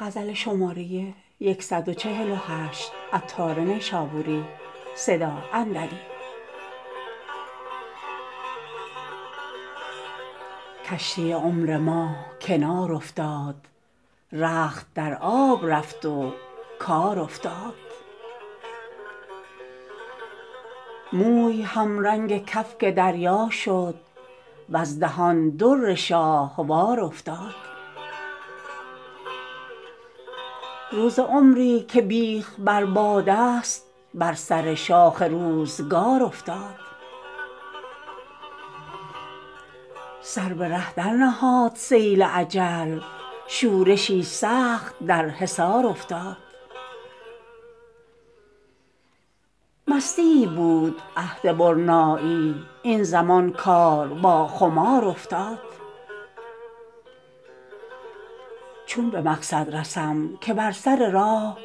کشتی عمر ما کنار افتاد رخت در آب رفت و کار افتاد موی همرنگ کفک دریا شد وز دهان در شاهوار افتاد روز عمری که بیخ بر باد است با سر شاخ روزگار افتاد سر به ره در نهاد سیل اجل شورشی سخت در حصار افتاد مستییی بود عهد برنایی این زمان کار با خمار افتاد چون به مقصد رسم که بر سر راه